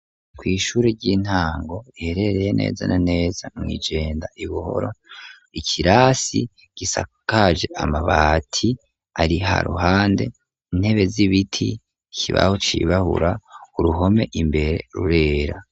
Kw'ishuri ry'intango iherereye nezana neza mw'ijenda ibuhoro ikirasi gisakaje amabati ari ha ruhande intebe z'ibiti kibaho cibahura uruhome imbere rurera.